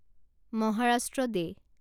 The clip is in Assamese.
মহাৰাষ্ট্ৰ ডে